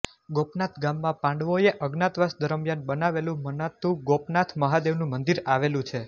ગોપનાથ ગામમાં પાંડવોએ અજ્ઞાતવાસ દરમ્યાન બનાવેલું મનાતું ગોપનાથ મહાદેવનું મંદિર આવેલું છે